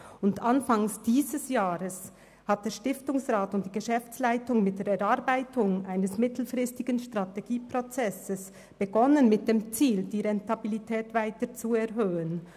Anfang dieses Jahres haben der Stiftungsrat und die Geschäftsleitung mit der Erarbeitung eines mittelfristigen Strategieprozesses begonnen, mit dem Ziel, die Rentabilität weiter zu erhöhen.